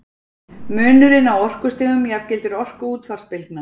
munurinn á orkustigum jafngildir orku útvarpsbylgna